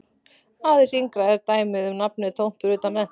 Aðeins yngra er dæmið um nafnið tómt fyrir utan rentu.